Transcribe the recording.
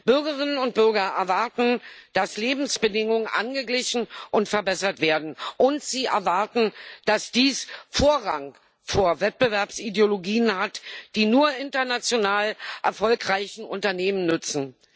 Bürgerinnen und Bürger erwarten, dass Lebensbedingungen angeglichen und verbessert werden, und sie erwarten, dass dies Vorrang vor Wettbewerbsideologien hat, die nur international erfolgreichen Unternehmen nützen.